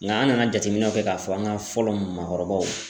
Nka an nana jateminɛw kɛ k'a fɔ an ka fɔlɔ maakɔrɔbaw